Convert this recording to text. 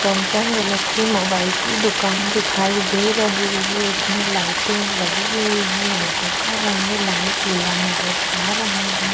Samsung Galaxy mobile की दुकान दिखाई दे रही है इसमें लाइटे लगी हुई है लाईटो का रंग लाल पीला नजर आ रहा हैं ।